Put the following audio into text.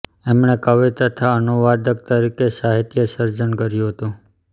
એમણે કવિ તથા અનુવાદક તરીકે સાહિત્ય સર્જન કર્યું હતું